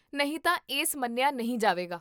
ਨਹੀਂ ਤਾਂ, ਇਸ ਮੰਨੀਆ ਨਹੀਂ ਜਾਵੇਗਾ